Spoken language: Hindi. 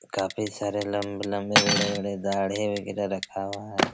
काफी सारे लंबे-लंबे बड़े-बड़े दाढ़ी वगैरा रखा हुआ है।